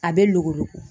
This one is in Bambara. A bɛ luwo